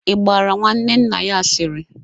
Ị gbaara nwanne nna ya asịrị?